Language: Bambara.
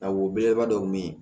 A wolo belebeleba dɔ me yen